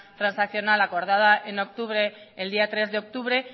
transaccional acordada el día tres de octubre